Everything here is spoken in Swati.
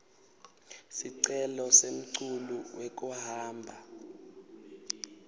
sicelo semculu wekuhamba